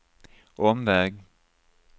omväg